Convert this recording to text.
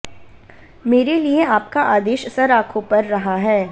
मेरे लिये आपका आदेश सर आंखों पर रहा है